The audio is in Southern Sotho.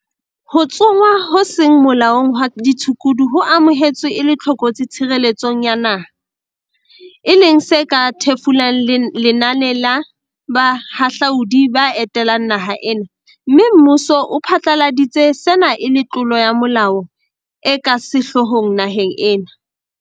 Ho tsongwa ho seng molaong hwa ditshukudu ho amohetswe e le tlokotsi tshireletsong ya naha, e leng se ka thefulang lenane la" bahahlaudi ba etelang naha ena, mme mmuso o phatlaladitse sena e le tlolo ya molao e ka sehloohong naheng ena.